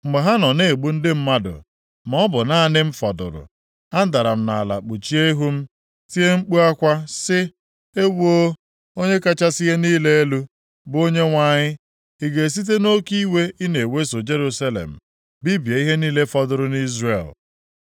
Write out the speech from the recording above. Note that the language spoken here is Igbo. Mgbe ha nọ na-egbu ndị mmadụ maọbụ naanị m fọdụrụ, adara m nʼala kpuchie ihu m, tie mkpu akwa, sị, “Ewoo, Onye kachasị ihe niile elu, bụ Onyenwe anyị! Ị ga-esite nʼoke iwe ị na-eweso Jerusalem bibie ihe niile fọdụrụ nʼIzrel?”